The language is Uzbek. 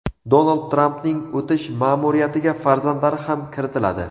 Donald Trampning o‘tish ma’muriyatiga farzandlari ham kiritiladi.